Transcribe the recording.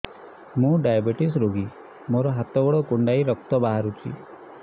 ମୁ ଡାଏବେଟିସ ରୋଗୀ ମୋର ହାତ ଗୋଡ଼ କୁଣ୍ଡାଇ ରକ୍ତ ବାହାରୁଚି